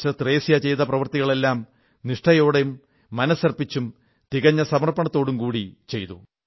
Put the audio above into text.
sister Thresia ചെയ്ത പ്രവർത്തികളെല്ലാം നിഷ്ഠയോടും മനസ്സർപ്പിച്ചും തികഞ്ഞ സമർപ്പണമനോഭാവത്തോടും കൂടി ചെയ്തു